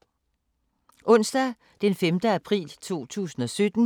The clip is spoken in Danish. Onsdag d. 5. april 2017